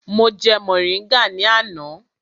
Mo jẹ mọ̀ríngà ní àná.